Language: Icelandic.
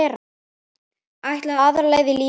Ætlaði aðra leið í lífinu.